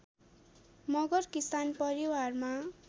मगर किसान परिवारमा